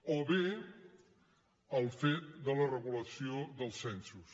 o bé el fet de la regulació dels censos